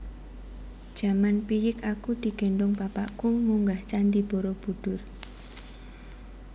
Jaman piyik aku digendhong bapakku munggah candi Borobudur